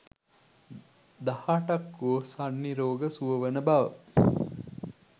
දහ අටක් වූ සන්නි රෝග සුව වන බව